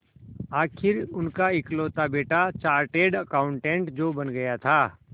आखिर उनका इकलौता बेटा चार्टेड अकाउंटेंट जो बन गया था